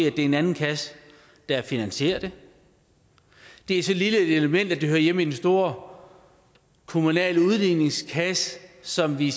er en anden kasse der finansierer det det er så lille et element at det hører hjemme i den store kommunale udligningskasse som vi